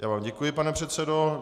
Já vám děkuji, pane předsedo.